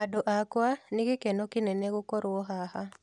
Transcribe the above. Andũ akwa, nĩ gĩkeno kĩnene gũkorwo haha